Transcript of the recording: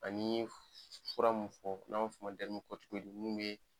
An'i ye fura mun fɔ n'an f'o ma kɔ dɛrimo kɔtikotidi mun be